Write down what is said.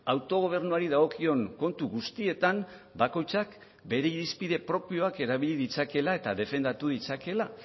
autogobernuari dagokion kontu guztietan bakoitzak bere irizpide propioak erabili ditzakeela eta defendatu ditzakeela